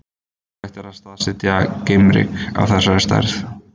Ómögulegt er að staðsetja geimryk af þessari stærð.